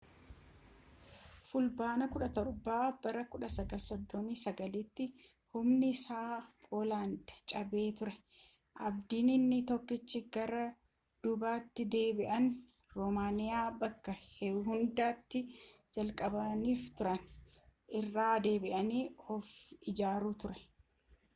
fulbaana17 1939’tti humni ittisaa poolaand cabee ture abdiin inni tokkichi gara duubaatti deebi’anii roomaaniyaa bakka hundee itti jabeeffatanii turanitti irra deebi’anii of ijaaruu ture